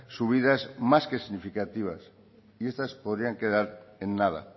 subidas más que significativas y estas podrían quedar en nada